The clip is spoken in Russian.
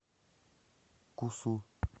кусу